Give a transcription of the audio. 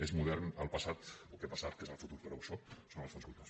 és modern el passat el que ha passat que és el futur però això són els fons voltors